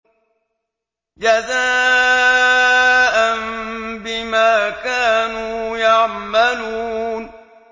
جَزَاءً بِمَا كَانُوا يَعْمَلُونَ